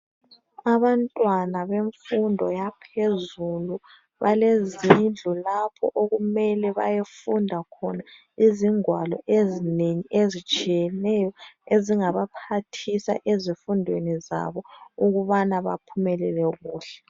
Abantwana bemfundo yaphezulu balezindlu lapho okumele bayefunda khona izingwalo ezinengi ezitshiyeneyo ezingabaphathisa ezifundweni zabo, ukubana baphumelele kuhle.